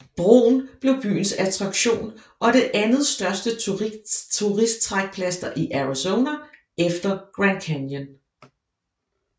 Broen blev byens attraktion og det andetstørste turisttrækplaster i Arizona efter Grand Canyon